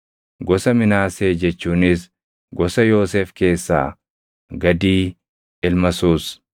gosa Minaasee jechuunis gosa Yoosef keessaa Gadii ilma Suus;